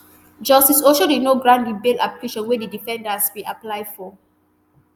justice oshodi no grant di bail application wey di defendants bin apply for